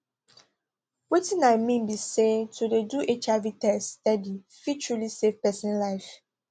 wetin i mean be say to dey do hiv test steady fit truly save pesin life